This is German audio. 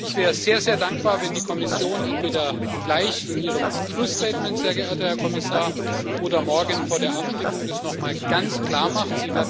Und ich wäre sehr, sehr dankbar, wenn die Kommission das entweder gleich in Ihrem Schlussstatement, sehr geehrter Herr Kommissar, oder morgen vor der Abstimmung nochmal ganz klar macht.